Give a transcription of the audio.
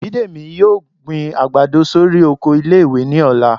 Bídèmí yóò gbín àgbádọ sorí oko ìlé-ìwé ni ọlà